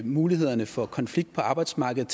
mulighederne for konflikt på arbejdsmarkedet